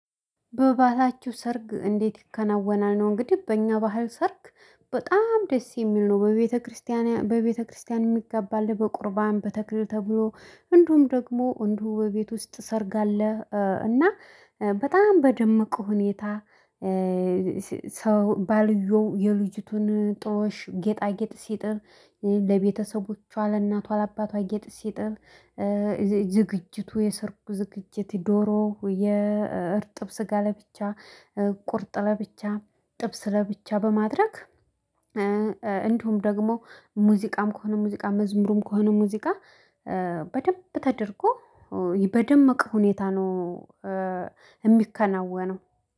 በባህላችሁ ሰርግ እንዴት? ይከናወናል ነው እንግዲህ በእኛ ባህል ሰርግ በጣም ደስ የሚል ነው። በቤተክርስቲያን በቤተክርስቲያን የሚገባ አለ በቁርባን በተክሊል ተብሎ እንዲሁም ደግሞ እንዲሁ በቤት ውስጥ ሰርግ አለ እና በጣም በደመቀ ሁኔታ። ሰው ባልየው የልጅቱን ጥሎሽ ጌጣጌጥ ሲጥል ለቤተሰቦቿ ለእናቷ ለአባቷ ጌጥ ሲጥል። ዝግጅቱ የሰርጉ ዝግጅት ዶሮ የእርጥብ ስጋ ለብቻ ቁርጥ ለብቻ ጥብስ ለብቻ በማድረግ። እንዲሁም ደግሞ ሙዚቃም ከሆነ ሙዚቃ መዝሙሩም ከሆነ ሙዚቃ በደንብ ተደርጎ በደመቀ ሁኔታ ነው። የሚከናወነው